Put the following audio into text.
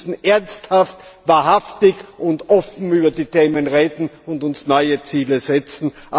Wir müssen ernsthaft, wahrhaftig und offen über die Themen reden und uns neue Ziele setzen.